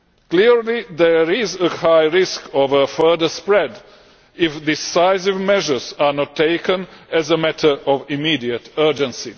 Clearly, there is a high risk of a further spread if decisive measures are not taken as a matter of immediate urgency.